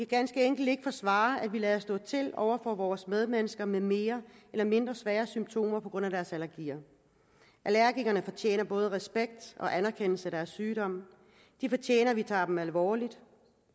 ganske enkelt ikke forsvare at vi lader stå til over for vores medmennesker med mere eller mindre svære symptomer på grund af deres allergier allergikerne fortjener både respekt og anerkendelse af deres sygdom de fortjener at vi tager dem alvorligt